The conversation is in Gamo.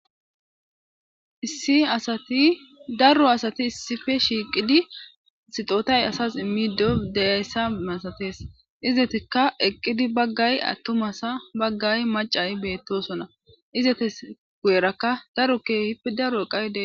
Issitdarro asati issife shiiqidi sixotay asas immido deyayssa masatees izetikka eqqidi baggay attumasa baggay macay beettosona izetes gu7erakka daro keehip daro eqaydee.